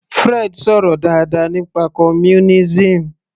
Fred sọ̀rọ̀ dáadáa nípa communism